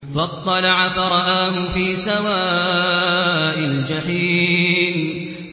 فَاطَّلَعَ فَرَآهُ فِي سَوَاءِ الْجَحِيمِ